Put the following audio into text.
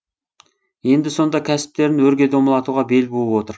енді сонда кәсіптерін өрге домалатуға бел буып отыр